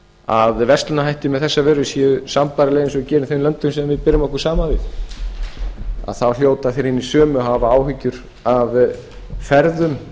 að verslunarhættir með þessa vöru séu sambærilegir eins og þeir gera í þeim löndum sem við berum okkur saman við þá hljóta þeir hinir sömu að hafa áhyggjur af ferðum